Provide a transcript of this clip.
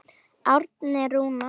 Árni Rúnar.